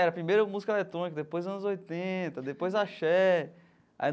Era primeiro música eletrônica, depois anos oitenta, depois Axé.